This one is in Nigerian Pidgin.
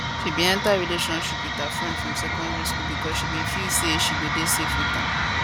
she bin enta relationship wit her friend from secondary school becos she bin feel say she go dey safe wit am